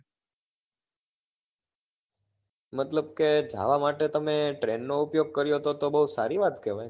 મતલબ કે જાવા માટે તમે train નો ઉપયોગ કર્યો હતો તો બહુ સારી વાત કહેવાય